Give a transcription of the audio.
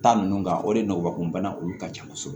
Ta ninnu kan o de ye nɔgɔkunbana olu ka ca kosɛbɛ